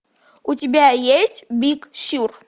у тебя есть биг сюр